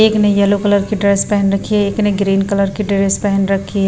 एक ने yellow colour की ड्रेस पहन रखी है एक ने ग्रीन कलर की ड्रेस पहन रखी है।